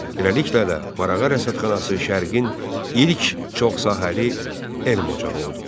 Beləliklə də, Marağa rəsədxanası Şərqin ilk çoxsahəli elm ocağı oldu.